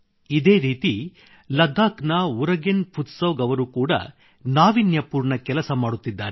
ಇದೇ ರೀತಿ ಲದ್ದಾಖ್ ನ ಉರಗೆನ್ ಫುತ್ಸೌಗ್ ಅವರು ಕೂಡಾ ನಾವೀನ್ಯಪೂರ್ಣ ಕೆಲಸ ಮಾಡುತ್ತಿದ್ದಾರೆ